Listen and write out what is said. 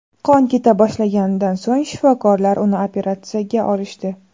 Qon keta boshlaganidan so‘ng shifokorlar uni operatsiyaga olishdi.